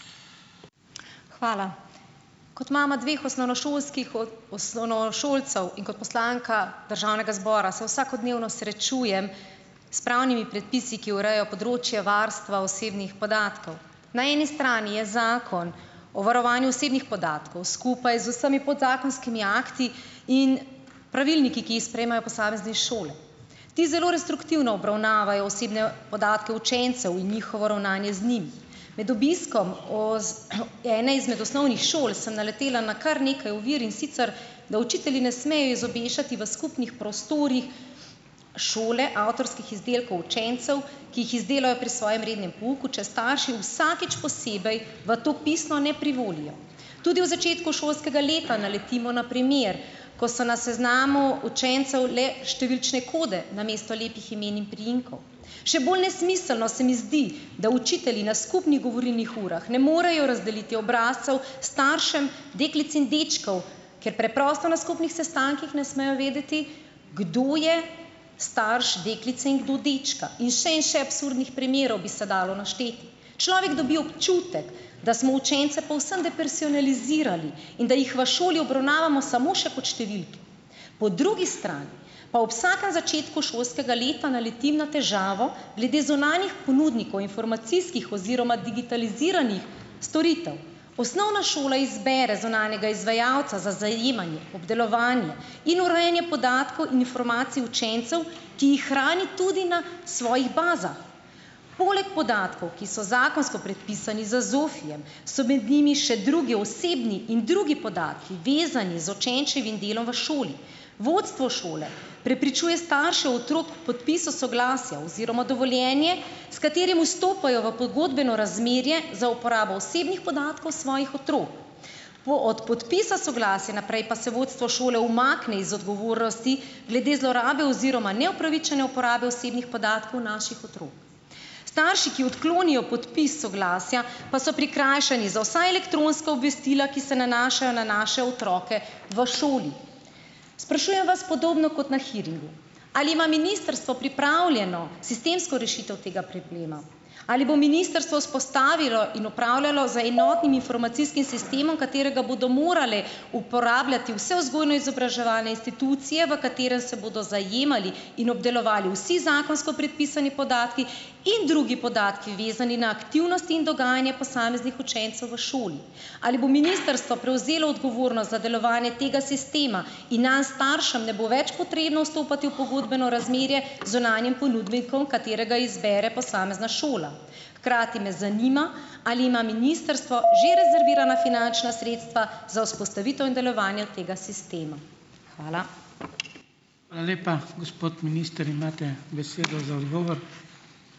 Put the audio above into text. Hvala. Kot mama dveh osnovnošolskih osnovnošolcev in kot poslanka državnega zbora se vsakodnevno srečujem s pravnimi predpisi, ki urejo področje varstva osebnih podatkov. Na eni strani je Zakon o varovanju osebnih podatkov skupaj z vsemi podzakonskimi akti in pravilniki, ki jih sprejemajo posamezne šole. Ti zelo restriktivno obravnavajo osebne podatke učencev in njihovo ravnanje z njimi. Med obiskom ene izmed osnovnih šol sem naletela na kar nekaj ovir, in sicer da učitelji ne smejo izobešati v skupnih prostorih šole avtorskih izdelkov učencev, ki jih izdelajo pri svojem rednem pouku, če starši vsakič posebej v to pisno ne privolijo. Tudi v začetku šolskega leta naletimo na primer, ko so na seznamu učencev le številčne kode namesto lepih imen in priimkov. Še bolj nesmiselno se mi zdi, da učitelji na skupnih govorilnih urah ne morejo razdeliti obrazcev staršem deklic in dečkov, ker preprosto na skupnih sestankih ne smejo vedeti, kdo je starš deklice in kdo dečka. In še in še absurdnih primerov bi se dalo našteti. Človek dobi občutek, da smo učence povsem depersonalizirali in da jih v šoli obravnavamo samo še kot številke, po drugi strani pa ob vsakem začetku šolskega leta naletim na težavo glede zunanjih ponudnikov informacijskih oziroma digitaliziranih storitev. Osnovna šola izbere zunanjega izvajalca za zajemanje, obdelovanje in urejanje podatkov in informacij učencev, ki jih hrani tudi na svojih bazah. Poleg podatkov, ki so zakonsko predpisani z ZOFI-jem, so med njimi še drugi osebni in drugi podatki, vezani z učenčevim delom v šoli. Vodstvo šole prepričuje starše otrok podpisu soglasja oziroma dovoljenje, s katerim vstopajo v pogodbeno razmerje za uporabno osebnih podatkov svojih otrok. Po od podpisa soglasja naprej pa se vodstvo šole umakne iz odgovornosti glede zlorabe oziroma neupravičene uporabe osebnih podatkov naših otrok. Starši, ki odklonijo podpis soglasja, pa so prikrajšani za vsa elektronska obvestila, ki se nanašajo na naše otroke v šoli. Sprašujem vas podobno kot na hearingu, ali ima ministrstvo pripravljeno sistemsko rešitev tega problema? Ali bo ministrstvo vzpostavilo in upravljalo z enotnim informacijskim sistemom, katerega bodo morale uporabljati vse vzgojno-izobraževalne institucije, v katerem se bodo zajemali in obdelovali vsi zakonsko predpisani podatki in drugi podatki, vezani na aktivnosti in dogajanja posameznih učencev v šoli? Ali bo ministrstvo prevzelo odgovornost za delovanje tega sistema in nam staršem ne bo več potrebno vstopati v pogodbeno razmerje z zunanjim ponudnikom, katerega izbere posamezna šola? Hkrati me zanima, ali ima ministrstvo že rezervirana finančna sredstva za vzpostavitev in delovanje tega sistema? Hvala.